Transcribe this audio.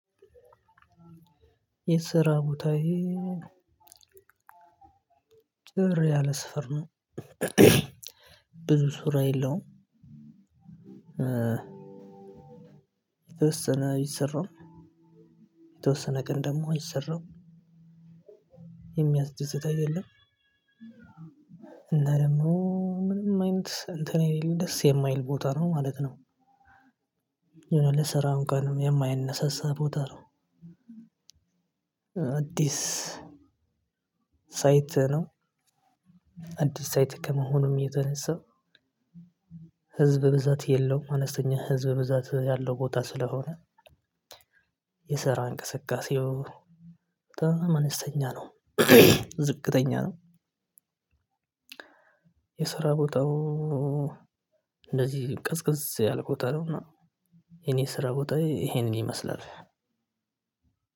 የሰራ ቦታዬ ጭር ያለ ሰፈር ነው ብዙ ስራ የለውም ይሰራል የተወሰነ ቀን ደግሞ አይሰራም የሚያስደስት አይደለም። እና ደግሞ ምንም አይነት እንትን የለም ደስ የማይል ቦታ ነው ማለት ነው የሆነ ለስራ እንኳን የማያነሳሳ ቦታ ነው። አዲስ ሳይት ነው አዲስ ሳይት ከመሆኑም የተነሳ ህዝብ ብዛት የለውም አነስተኛ ህዝብ ብዛት ያለው ቦታ ስለሆነ የሰራ እንቅስቃሴው በጣም አነስተኛ ነው ዝቅተኛ ነው የስራ ቦታው እንደዚህ ቀዝቀዝ ያለ ቦታ ነው እና የኔ ስራ ቦታዬ ይሄንን ይመስላል።